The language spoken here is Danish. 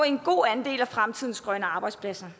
en god andel af fremtidens grønne arbejdspladser